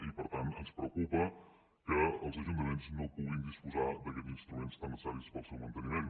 i per tant ens preocupa que els ajuntaments no puguin disposar d’aquests instruments tan necessaris per al seu manteniment